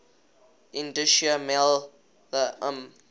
indischer maler um